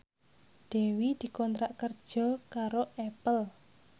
Dewi dikontrak kerja karo Apple